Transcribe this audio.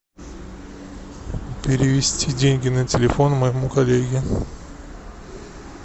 перевести деньги на телефон моему коллеге